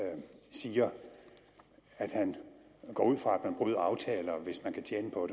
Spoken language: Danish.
siger at han går ud fra at man bryder aftaler hvis man kan tjene på